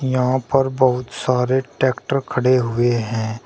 यहां पर बहुत सारे ट्रैक्टर खड़े हुए है।